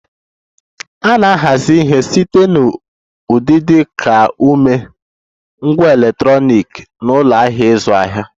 A na-ahazi ihe site na ụdị dị ka uwe, ngwá electronic na ụlọ ahịa ịzụ ahịa